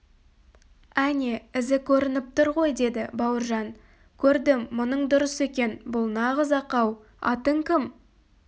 әне ізі көрініп тұр ғой деді бауыржан көрдім мұның дұрыс екен бұл нағыз ақау атың кім